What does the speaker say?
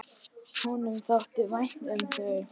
Honum þótti vænt um þau.